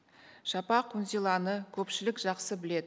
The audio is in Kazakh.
шапақ үнзиланы көпшілік жақсы біледі